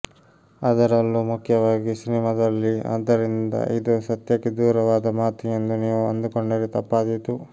ಅದರಲ್ಲೂ ಮುಖ್ಯವಾಗಿ ಸಿನಿಮಾದಲ್ಲಿ ಆದ್ದರಿಂದ ಇದು ಸತ್ಯಕ್ಕೆ ದೂರವಾದ ಮಾತು ಎಂದು ನೀವು ಅಂದುಕೊಂಡರೆ ತಪ್ಪಾದೀತು